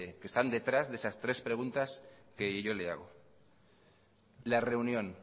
que están detrás de esas tres preguntas que yo le hago la reunión